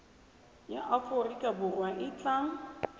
ya aforika borwa e tla